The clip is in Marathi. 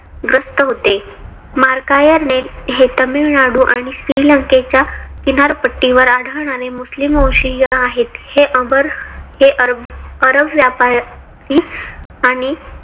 ग्रस्त होते. मार्कायर हे तामिळनाडू आणि श्रीलंकेच्या किनारपट्टीवर आढळणारे मुस्लीम वंशीय आहेत. हे अबर हे अरब व्यापारी आणि